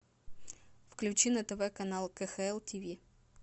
включи на тв канал кхл тв